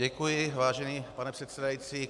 Děkuji, vážený pane předsedající.